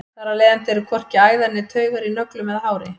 þar af leiðandi eru hvorki æðar né taugar í nöglum eða hári